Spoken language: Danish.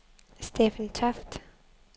Steffen Toft